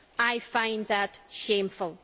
I find that shameful.